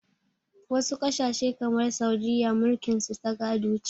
Wasu ƙasashe kamar Saudiyya mulkin su ta gado ce.